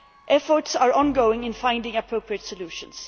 Efforts are ongoing to find appropriate solutions.